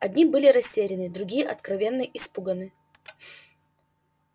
одни были растеряны другие откровенно испуганы